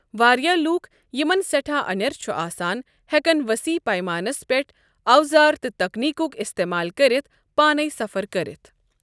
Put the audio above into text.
واریٛاہ لوٗکھ یِمن سٮ۪ٹھاہ اَنٮ۪ر چھُ آسان ہٮ۪کَن ؤسیع پیمانَس پیٹھ اوزار تہٕ تکنیک استعمال کٔرِتھ پانَے سَفَر کٔرِتھ۔۔